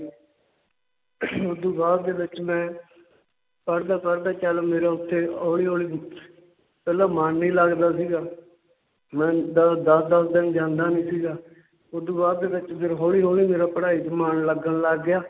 ਓਦੂ ਬਾਅਦ ਦੇ ਵਿੱਚ ਮੈਂ ਪੜ੍ਹਦਾ ਪੜ੍ਹਦਾ ਚੱਲ ਮੇਰਾ ਉੱਥੇ ਹੌਲੀ ਹੌਲੀ ਪਹਿਲਾਂ ਮਨ ਨਈਂ ਲੱਗਦਾ ਸੀਗਾ, ਮੈਂ ਦ~ ਦਸ ਦਸ ਦਿਨ ਜਾਂਦਾ ਨਈਂ ਸੀਗਾ ਓਦੂ ਬਾਅਦ ਦੇ ਵਿੱਚ ਫਿਰ ਹੌਲੀ ਹੌਲੀ ਮੇਰਾ ਪੜ੍ਹਾਈ 'ਚ ਮਨ ਲੱਗਣ ਲੱਗ ਗਿਆ।